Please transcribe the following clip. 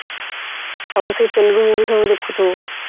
ସବୁ ସେଇ ତେଲୁଗୁ movie ସବୁ ଦେଖୁଥିବୁ